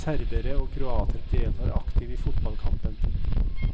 Serbere og kroater deltar aktivt i fotballkampen.